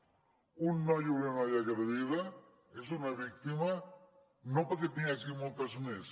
un noi o una noia agredida és una víctima no perquè n’hi hagi moltes més